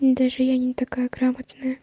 даже я не такая грамотная